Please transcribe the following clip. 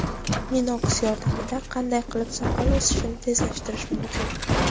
Minox yordamida qanday qilib soqol o‘sishini tezlashtirish mumkin?